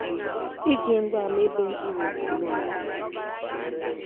Iji ngwaa mebe mkpụrụokwu n'ọnọdụ dị iche iche